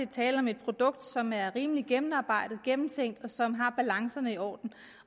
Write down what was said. tale om et produkt som er rimelig gennemarbejdet gennemtænkt og som har balancerne i orden